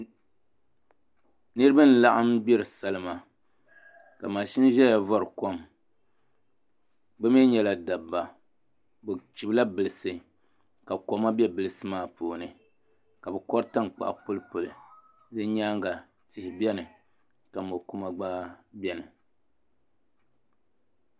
Niraba n laɣam salima ka mashin ʒɛya vori kom bi mii nyɛla dabba bi chibila bilisi ka koma bɛ bilisi maa puuni ka bi kori tankpaɣu pulipuli bi nyaanga tihi biɛni ka mo kuma gba biɛni